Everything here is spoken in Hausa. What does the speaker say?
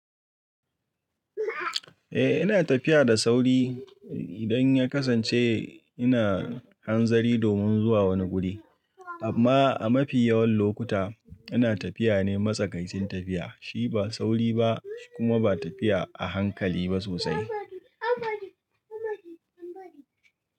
Eh ina tafiya da sauri idan ya kasance ina hanzari domin zuwa wani guri. Amma a mafi yawan lokuta ina tafiya ne matsakaicin tafiya, shi ba sauri ba shi kuma ba tafiya a hankali ba sosai.